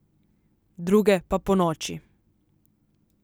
Druge pa ponoči.